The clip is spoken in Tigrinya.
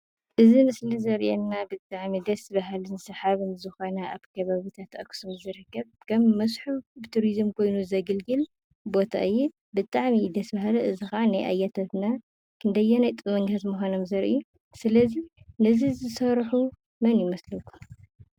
እዚ ምሰሊ ዘርእየና ብጣዕሚ ደሰ ባሃሊን ሰሓብን ዝኾነ ኣብ ከባቢታት ኣክሱም ዝርከብ ከም መስሕብ ትሪዝም ኮይኑ ዘገልግል ቦታ እዩ። ብጣዕሚ እዩ ደስ ባሃሊ። እዙይ ኸዓ ናይ ኣያታትና ኽንደየናይ ጥበበኛታት ምዃኖም ዘርኢ። ስለ እዚ ነዚ ዝሰርሑ መን ይመስለኩም?